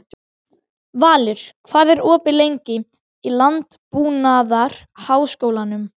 Valur, hvað er opið lengi í Landbúnaðarháskólanum?